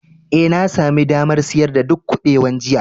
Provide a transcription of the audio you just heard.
Ee, na sami damar siyar da duk kubewan jiya.